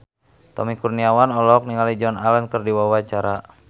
Tommy Kurniawan olohok ningali Joan Allen keur diwawancara